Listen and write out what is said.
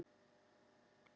Ég hef það gott hér.